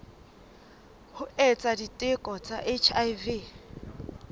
ho etsa diteko tsa hiv